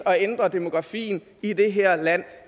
at ændre demografien i det her land